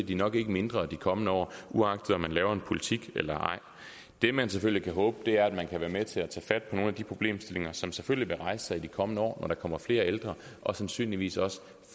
de nok ikke mindre de kommende år uagtet om man laver en politik eller ej det man selvfølgelig kan håbe er at man kan være med til at tage fat på nogle af de problemstillinger som selvfølgelig vil blive rejst sig i de kommende år når der kommer flere ældre og sandsynligvis også